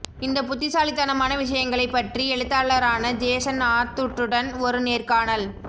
இந்த புத்திசாலித்தனமான விஷயங்களைப் பற்றி எழுத்தாளரான ஜேசன் ஆத்தூட்டுடன் ஒரு நேர்காணல்